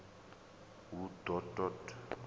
hu d o t od